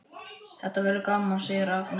Þetta verður gaman, segir Agnes.